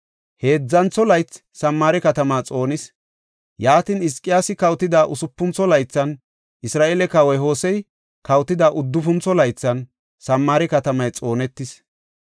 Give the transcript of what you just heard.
Heedzantho laythi Samaare katama xoonis. Yaatin, Hizqiyaasi kawotida usupuntho laythan, Isra7eele kawoy Hosey kawotida uddufuntho laythan, Samaare katamay xoonetis.